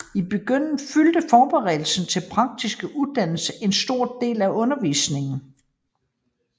I begyndelsen fyldte forberedelsen til praktiske uddannelser en stor del af undervisningen